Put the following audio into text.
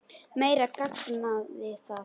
Meira gamanið það!